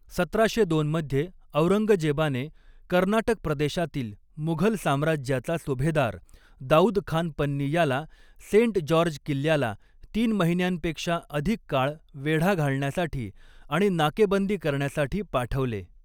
सतराशे दोन मध्ये औरंगजेबाने कर्नाटक प्रदेशातील मुघल साम्राज्याचा सुभेदार दाऊद खान पन्नी याला सेंट जॉर्ज किल्ल्याला तीन महिन्यांपेक्षा अधिक काळ वेढा घालण्यासाठी आणि नाकेबंदी करण्यासाठी पाठवले.